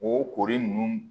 O kori nunnu